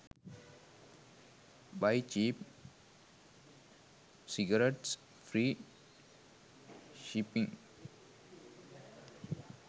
buy cheap cigarettes free shipping